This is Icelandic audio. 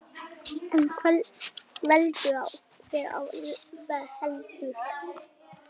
En veldur hver á heldur.